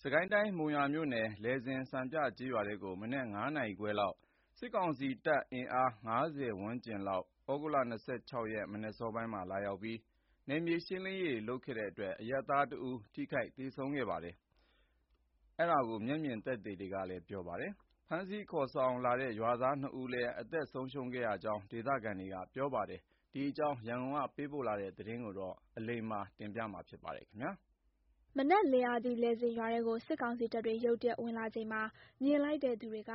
စစ်ကိုင်းတိုင်း မုံရွာမြို့နယ် လယ်ဇင်စံပြကျေးရွာထဲကို မနက် ၅ နာရီခွဲလောက် စစ်ကောင်စီ အင်အား ၅၀ ဝန်းကျင်လောက် ဩဂုတ်လ ၂၆ ရက် မနက်အစောပိုင်းက ရောက်လာပြီး နယ်မြေရှင်းလင်းရေးလုပ်တဲ့အတွက် အရပ်သားတဦး ထိခိုက်သေဆုံးခဲ့တယ်လို့ မျက်မြင်သက်သေတွေက ပြောပါတယ်။ ဖမ်းဆီးခေါ်ဆောင်လာတဲ့ ရွာသား ၂ ဦးလည်း အသတ်ခံခဲ့ရတဲ့အကြောင်း ဒေသခံတွေနဲ့ စစ်တပ်ပြန်ထွက်သွားတဲ့အချိန် သဂြိုင်္လပေးခဲ့ရသူတွေက ပြောပါတယ်။ ဒီအကြောင်း ရန်ကုန်ကလာတဲ့သတင်းကို အလိမ္မာ ပြောပြမှာပါ။ မနက်လင်းအားကြီး လယ်ဇင်ရွာထဲကို စစ်ကောင်စီတပ်တွေ ရုတ်တရက်ဝင်လာချိန်မှာ မြင်လိုက်တဲ့ သူတွေက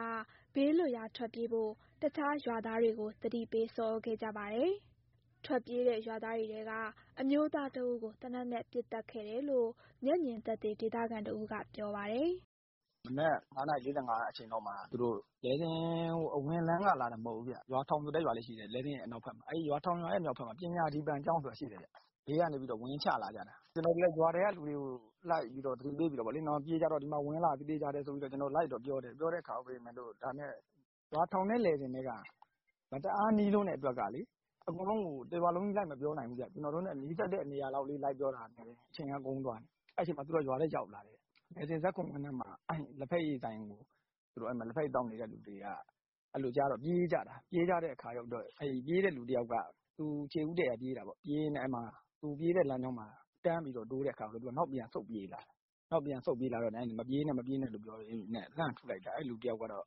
ဘးလွတ်ရာထွက်ပြေးဖို့ တခြားရွာသားတွေကို သတိပေး ဆော်သြခဲ့ကြပါတယ်။ ထွက်ပြေးတဲ့ ရွာသားတွေထဲက အမျိုးသားတဦးကို သေနတ်နဲ့ ပစ်သတ်ခဲ့တယ်လို့ မျက်မြင်သက်သေ ဒေသခံတဦးက ပြောပါတယ်။ "လယ်ဇင်အနောက်ဘက်က ရွာထောင်ဆိုတဲ့ရွာရဲ့ အနောက်ဘက်မှာ ပညာဒီပံကျောင်းဆိုတာရှိတယ်။ အဲဒီဘေးကနေ ဝင်ချလာကြတာ။ ကျနော်တို့လည်း ရွာထဲကလူတွေကို ဒီမှာဝင်လာပြီ၊ သေချာတယ်၊ ပြေးကြတော့ဆိုပြီး လိုက်တော့ပြောတယ်။ ဒါပေမဲ့ ရွာထောင် နဲ့ လယ်ဇင် နဲ့ က မတအားနီးလွန်းတော့ အကုန်လုံးကို တရွာလုံး လိုက်မပြောနိုင်ဘူးဗျ။ ကျနော်တို့နဲ့ နီးစပ်တဲ့နေရာလောက်လေး လိုက်ပြောတာ နဲ့ တင် အချိန်ကကုန်သွားတာ။ အဲဒီအချိန်မှာ သူတို့က ရွာထဲရောက်လာတယ်။ လယ်ဇင် ဇာတ်ခုံကွင်းထဲက လက်ဖက်ရည်ဆိုင်မှာ ထိုင်နေသူတွေက အဲလိုကြားတော့ ပြေးကြတာ။ ပြေးတဲ့လူတယောက်က သူခြေဦးတည့်ရာပြေးရင်းနဲ့ တန်းတိုးတော့ နောက်ပြန်ဆုတ်ပြေးလာတာ။ မပြေးနဲ့ မပြေးနဲ့ဆိုပြီး လှမ်းပစ်လိုက်တာ အဲဒီလူတယောက်ကတော့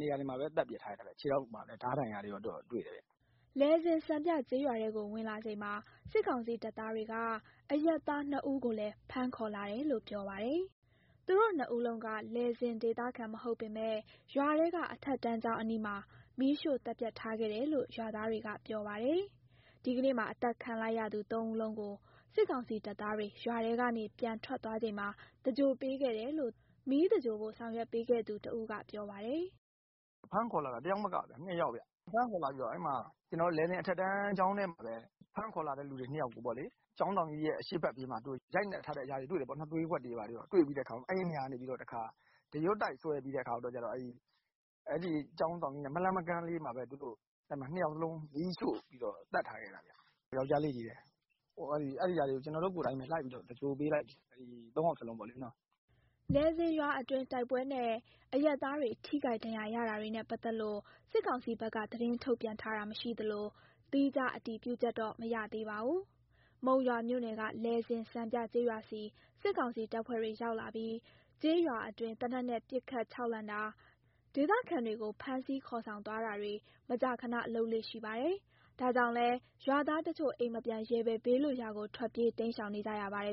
နေရာမှာတင်ပဲ သတ်ပစ်ခံထားရတာ၊ ခြေထောက်မှာလည်း ဓားဒဏ်ရာတွေ တွေ့တယ်ဗျ။" လယ်ဇင်စံပြကျေးရွာထဲကို ဝင်လာချိန်မှာ စစ်ကောင်စီတပ်သားတွေက အရပ်သား ၂ ဦးကိုလည်း ဖမ်းခေါ်လာတယ်လို့ ပြောပါတယ်။ သူတို့ နှစ်ဦးလုံးက လယ်ဇင်ဒေသခံ မဟုတ်ပေမယ့် ရွာထဲက အထက်တန်းကျောင်းအနီးမှာ မီးရှို့သတ်ဖြတ်ထားခဲ့တယ်လို့ ရွာသားတွေက ပြောပါတယ်။ ဒီကနေ့မှာ အသတ်ခံလိုက်ရသူ ၃ ဦးလုံးကို စစ်ကောင်စီတပ်သားတွေ ရွာထဲကနေ ပြန်ထွက်သွားချိန်မှာ သင်္ဂြိုလ်ပေးခဲ့တယ်လို့ မီးသဂြိုင်္လဖို့ ဆောင်ရွက်ပေးခဲ့သူတဦးက ပြောပါတယ်။ "သူတို့ဖမ်းခေါ်လာတာ ၂ ယောက်ဗျ။ လယ်ဇင်အထက်တန်းကျောင်းထဲမှာပဲ ဖမ်းခေါ်လာသူ ၂ ယောက်ကို ကျောင်းဆောင်ကြီးရဲ့ အရှေ့ဘက်ပြေးမှာ သူတို့ရိုက်နှက်ထားတဲ့ အရာတွေ တွေ့တယ်ပေါ့နော်။ သွေးကွက်တွေ ဘာတွေ တွေ့ပြီးတော့ အဲဒီနေရာကနေ ဒရွတ်တိုက်ဆွဲပြီးတော့ ကျောင်းဆောင်ကြီးရဲ့ မလှမ်းမကမ်းလေးမှာပဲ ၂ ယောက်လုံးကို မီးရှို့ပြီးတော့ သတ်ထားခဲ့တာဗျ၊ ယောကျ်ားလေးချည်းပဲ။ ဒီနေ့ သေဆုံးသူ ၃ ယောက်လုံးကို ကျနော်တို့ကိုယ်တိုင်ပဲ သင်္ဂြိုလ်ပေးလိုက်တယ်။" လယ်ဇင်ရွာအတွင်း တိုက်ပွဲနဲ့ အရပ်သားတွေ ထိခိုက်ဒဏ်ရရတာတွေနဲ့ ပတ်သက်လို့ စစ်ကောင်စီဘက်က သတင်းထုတ်ပြန်တာ မရှိသလို သီးခြားအတည်ပြုချက်တော့ မရသေးပါဘူး။ မုံရွာမြို့နယ်က လယ်ဇင်စံပြကျေးရွာဆီ စစ်ကောင်စီတပ်ဖွဲ့တွေ ရောက်လာပြီး ကျေးရွာအတွင်း သေနတ်နဲ့ပစ်ခတ် ခြောက်လှန့်တာ၊ ဒေသခံတွေကို ဖမ်းဆီးခေါ်ဆောင်သွားတာတွေ မကြာခန လုပ်လေ့ရှိပါတယ်။ ဒါကြောင့်လည်း ရွာသားတချို့ အိမ်မပြန်ရဲပဲ ဘေးလွတ်ရာကို ထွက်ပြေးတိမ်း ရှောင်နေကြရပါတယ်